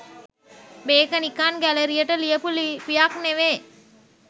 මේක නිකන් ගැලරියට ලියපු ලිපියක් නෙවේ.